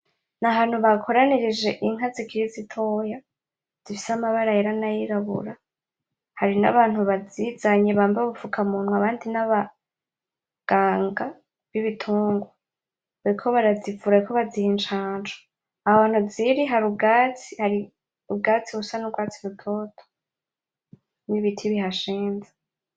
N'ahantu bakoranirije inka zikiri zitoya zifise amabara yera nay'irabura hari nabantu bazizanye bambaye ubufukamunwa, abandi n'abaganga b'ibitungwa , bariko barazivura, bariko baziha incanco aho hantu ziri hari ubwatsi, hari ubwatsi busa n'urwatsi rutoto, n'ibiti bihashinze.